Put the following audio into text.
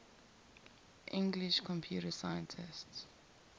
english computer scientists